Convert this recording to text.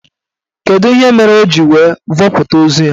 Kedụ ihe mere o ji wee vọpụta ozu ya?